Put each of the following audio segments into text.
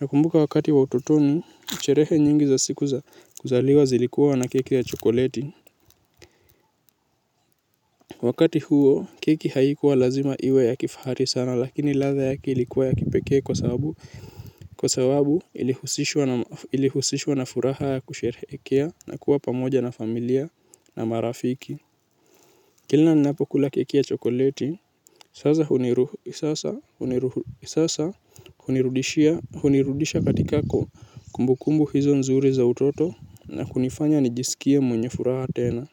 Nakumbuka wakati wa utotoni, sherehe nyingi za siku za kuzaliwa zilikuwa na keki ya chokoleti wakati huo keki haikua lazima iwe ya kifahari sana lakini ladha yake ilikua ya kipekee kwa sababu ilihusishwa na furaha ya kusherehekea na kuwa pamoja na familia na marafiki. Kila ninapo kula keki ya chokoleti, sasa hunirudisha katika kumbukumbu hizo nzuri za utoto na kunifanya nijisikie mwenye furaha tena.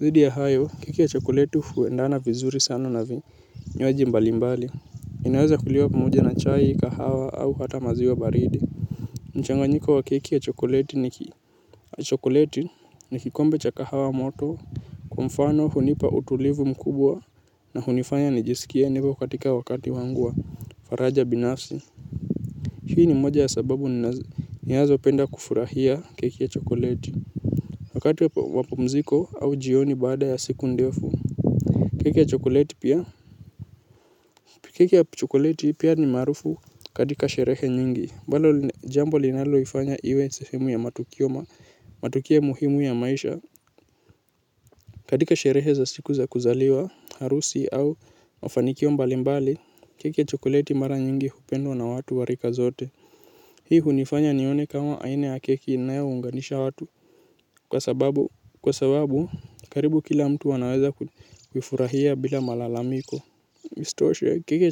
Zaidi ya hayo keki ya chokoleti huendana vizuri sana na vinywaji mbali mbali. Inaweza kuliwa pamoja na chai kahawa au hata maziwa baridi mchanganyiko wa keki ya chokoleti ni kikombe cha kahawa moto. Kwa mfano hunipa utulivu mkubwa na hunifanya nijisikie nipo katika wakati wangu wa faraja binafsi. Hii ni moja ya sababu ninazo penda kufurahia keki ya chokoleti. Wakati wa pumziko au jioni baada ya siku ndefu keki ya chokoleti pia keki ya chokoleti pia maarufu katika sherehe nyingi jambo linalolifanya iwe sehemu ya matukio matukio muhimu ya maisha. Katika sherehe za siku za kuzaliwa, harusi au mafanikio mbali mbali. Keki ya chokoleti mara nyingi hupendwa na watu wa rika zote hii hunifanya nioke kama aina ya keki inayounganisha watu kwa sababu karibu kila mtu anaweza kufurahia bila malalamiko isitoshe keki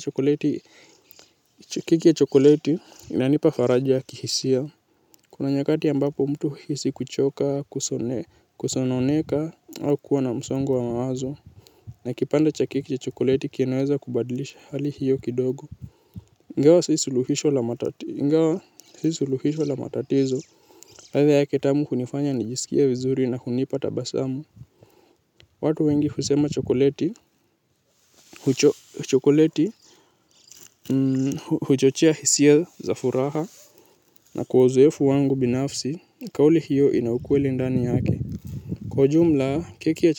ya chokoleti hunipa faraja ya kihisia. Kuna nyakati ambapo mtu huhisi kuchoka kusononeka au kuwa na msongo wa mawazo. Na kipande cha keki ya chokoleti kinaweza kubadilisha hali hiyo kidogo ingawa si suluhisho la matatizo ladha yake tamu hunifanya nijisikie vizuri na hunipata tabasamu. Watu wengi husema chokoleti. Huchochea hisia za furaha. Na kwa uzoefu wangu binafsi kauli hiyo ina ukweli ndani yake. Kwa ujumla, keki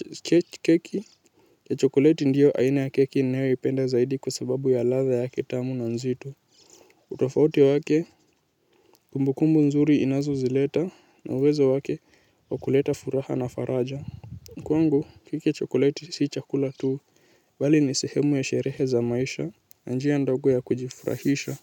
ya chokoleti ndiyo aina ya keki ninayo ipenda zaidi kwa sababu ya ladha yake tamu na nzito. Utofauti wake, kumbukumbu nzuri inazozileta na uwezo wake wa kuleta furaha na faraja kwangu, keki ya chokoleti si chakula tu bali ni sehemu ya sherehe za maisha na njia ndogo ya kujifurahisha.